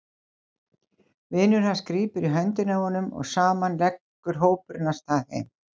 Vinur hans grípur í höndina á honum og saman leggur hópurinn af stað heim.